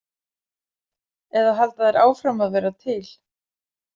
Eða halda þær áfram að vera til?